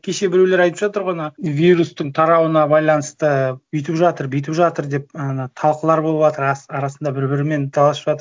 кеше біреулер айтып жатыр ғой ана вирустың тарауына байланысты өйтіп жатыр бүйтіп жатыр деп ыыы талқылар болыватыр арасында бір бірімен таласып жатыр